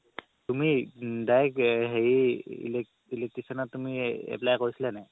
তুমি direct হেৰি ইলেক~ electrician ত apply কৰিছিলা নে নাই